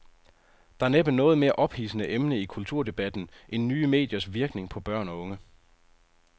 Der er næppe noget mere ophidsende emne i kulturdebatten end nye mediers virkning på børn og unge.